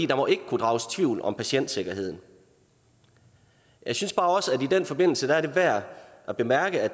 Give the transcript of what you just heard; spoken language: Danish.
der må ikke kunne drages tvivl om patientsikkerheden jeg synes bare også at det i den forbindelse er værd at bemærke at